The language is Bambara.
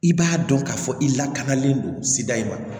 I b'a dɔn k'a fɔ i lakanalen don sida in ma